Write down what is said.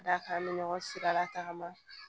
Ka d'a kan an bɛ ɲɔgɔn sigida tagama